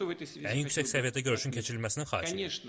Ən yüksək səviyyədə görüşün keçirilməsini xahiş edib.